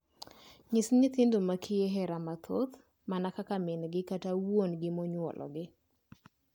Nyis nyithindo makiye hera mathoth mana kaka mingi kata wuongi monyuologi.